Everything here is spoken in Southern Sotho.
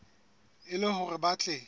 e le hore ba tle